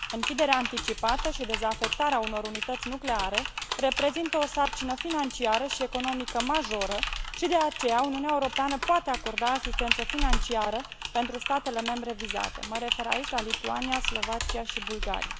Închiderea anticipată și dezafectarea unor unități nucleare reprezintă o sarcină financiară și economică majoră și de aceea Uniunea Europeană poate acorda asistență financiară pentru statele membre vizate mă refer aici la Lituania, Slovacia și Bulgaria.